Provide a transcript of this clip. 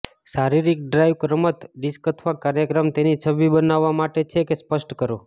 શારીરિક ડ્રાઇવ રમત ડિસ્ક અથવા કાર્યક્રમ તેની છબી બનાવવા માટે છે કે સ્પષ્ટ કરો